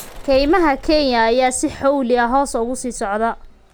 Kaymaha Kenya ayaa si xawli ah hoos ugu sii socda.